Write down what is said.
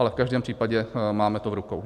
Ale v každém případě to máme v rukou.